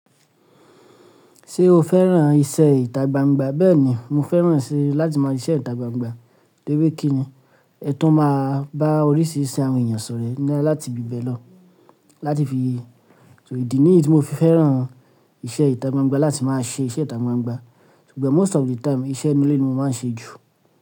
Ṣé o fẹ́ràn iṣẹ́ ìtagbangba? Bẹ́ẹ̀ni, mo fẹ́ràn iṣẹ́ láti máa ṣiṣẹ́ ìtagbangba toripe kínni, ẹ tún máa bá oríṣiríṣi àwọn èèyàn sọ̀rẹ́ láti íbẹ̀ lọ láti fi so ìdí nìyí tí mo fi fẹ́ràn iṣẹ́ ìtagbangba láti máa ṣe iṣẹ́ ìtagbangba, so but most of the time iṣẹ́ inú ilé ni mo máa ń ṣe jù.